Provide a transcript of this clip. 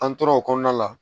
An tora o kɔnɔna la